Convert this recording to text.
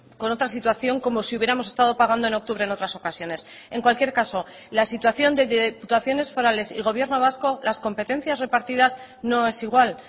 con otra situación como si hubiéramos estado pagando en octubre en otras ocasiones en cualquier caso la situación de diputaciones forales y gobierno vasco las competencias repartidas no es igual